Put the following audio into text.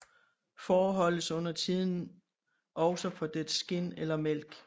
Får holdes undertiden også for dets skind eller mælk